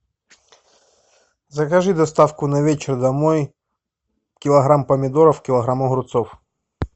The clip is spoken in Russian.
закажи доставку на вечер домой килограмм помидоров килограмм огурцов